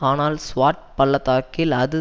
ஆனால் ஸ்வாட் பள்ளத்தாக்கில் அது